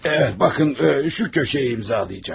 Bəli, baxın bu küncü imzalayacaq.